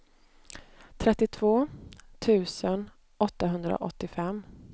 trettiotvå tusen åttahundraåttiofem